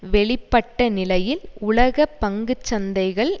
வெளிப்பட்ட நிலையில் உலக பங்கு சந்தைகள்